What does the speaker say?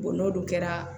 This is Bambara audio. n'olu kɛra